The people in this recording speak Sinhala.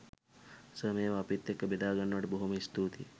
සර් මේවා අපිත් එක්ක බෙදාගන්නවට බොහොම ස්තූතියි